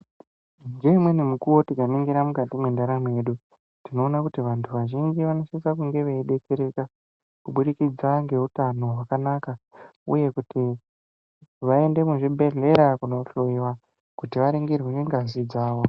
Ngeumwe mukuwo tikaningira mukati mwendaramo yedu, tinoona kuti vantu vazhinji vanosisa kunge veidetsereka, kubudikidza ngeutano hwakanaka, uye kuti vaende muzvibhedhlera kunohloiwa kuti varingirwe ngazi dzavo.